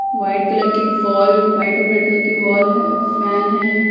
White colour की wall white और red colour की वोल हैं फैन हैं।